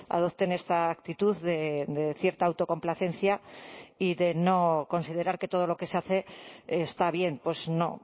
adopten esta actitud de cierta autocomplacencia y de no considerar que todo lo que se hace está bien pues no